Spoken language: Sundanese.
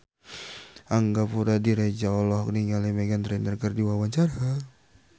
Angga Puradiredja olohok ningali Meghan Trainor keur diwawancara